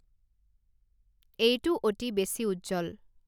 এইটো অতি বেছি উজ্জ্বল